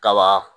Kaba